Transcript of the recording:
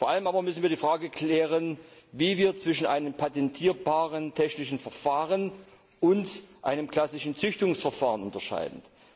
Vor allem aber müssen wir die Frage klären, wie wir zwischen einem patentierbaren technischen Verfahren und einem klassischen Züchtungsverfahren unterscheiden.